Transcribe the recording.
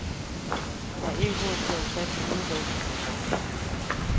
Jeg er ikke god til at satse udelukkende på forsvaret.